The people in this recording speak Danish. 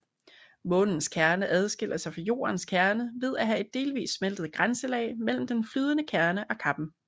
Månens kerne adskiller sig fra Jordens kerne ved at have et delvist smeltet grænselag mellem den flydende kerne og kappen